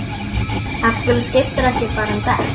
Af hverju skiptirðu ekki bara um dekk?